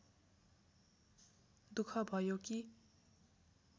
दुख भयो कि